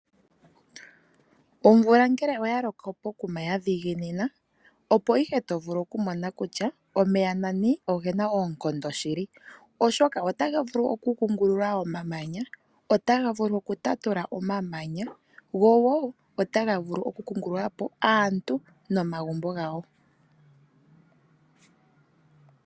Omvula ngele oya loka pokuma yadhiginina opo ihe tovulu oku mona kutya omeya nani ogena oonkondo shili, oshoka ota ga vulu oku kungululula omamanya, ota ga vulu oku tatula omamanya , go woo otaga vulu oku kungulula po aantu nomagumbo gawo.